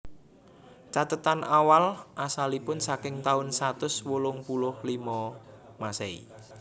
Cathetan awal asalipun saking taun satus wolung puluh limo Masehi